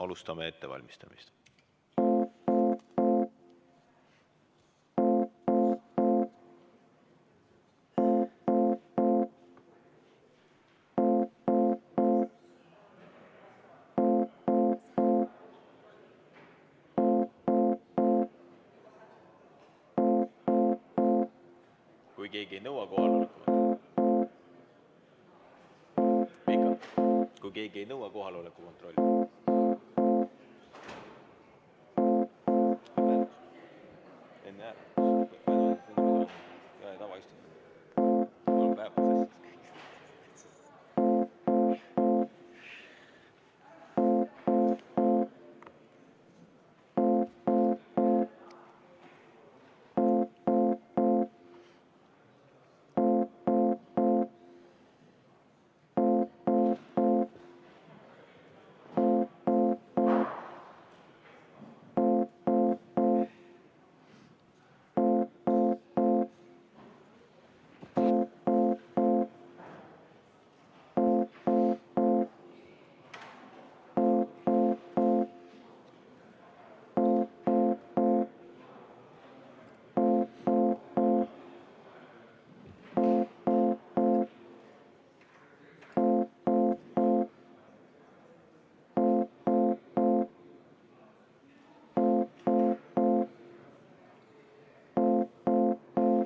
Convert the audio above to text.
Alustame ettevalmistamist.